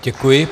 Děkuji.